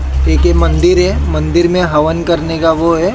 एक ये मंदिर है मंदिर में हवन करने का वो है।